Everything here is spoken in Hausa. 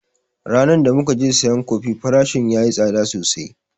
Ranan da mukaje sayan kofi farashin yayi tsada sosai